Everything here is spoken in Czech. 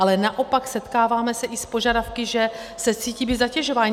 Ale naopak setkáváme se i s požadavky, že se cítí být zatěžováni.